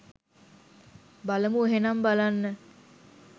බලමු එහෙනම් බලන්න